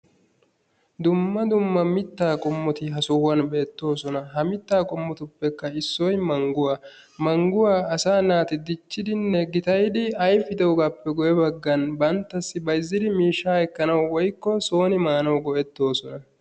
dumma dumma mitaa qommoti ha sohuwan beetoosona.ha mitaa qommotuppe issoy manguwa. manguwa asaa naati diccidinne gitayidi ayfidogaappe guye bagan bantassi bayizidi miishaa ekkanawu woykko sooni maanawu go'etoosona.